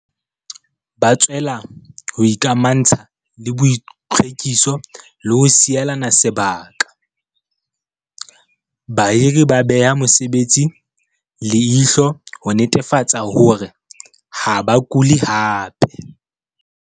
Ba tswella ho ikamantsha le boitlhwekiso le ho sielana sebaka. Bahiri ba beha mosebetsi leihlo ho netefatsa hore ha ba kule hape.